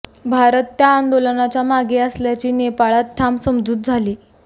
भारत त्या आंदोलनाच्या मागे असल्याची नेपाळात ठाम समजूत झाली